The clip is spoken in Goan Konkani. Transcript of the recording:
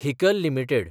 Haeckel limited